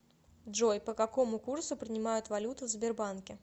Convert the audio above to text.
джой по какому курсу принимают валюту в сбербанке